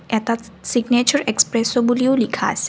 এটা signature express' বুলিও লিখা আছে।